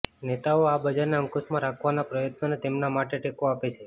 નેતાઓ આ બજારને અંકુશમાં રાખવાના પ્રયત્નોને તેમના માટે ટેકો આપે છે